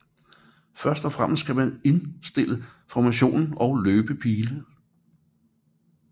Først og fremmest kan man indstille formationen og løbepile